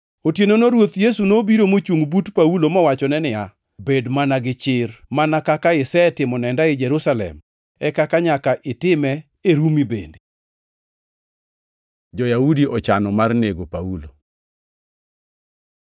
Otienono Ruoth Yesu nobiro mochungʼ but Paulo mowachone niya, “Bed mana gi chir! Mana kaka isetimo nenda ei Jerusalem, e kaka nyaka itime e Rumi bende.” Jo-Yahudi ochano mar nego Paulo